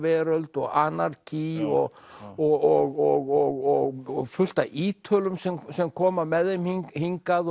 veröld og listaveröld og og fullt af Ítölum sem sem koma með þeim hingað